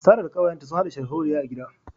Sarah da kawayenta sun hada sharholiya a gida